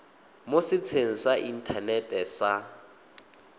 mo setsheng sa inthanete sa